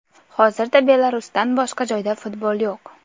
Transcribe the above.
Hozirda Belarusdan boshqa joyda futbol yo‘q.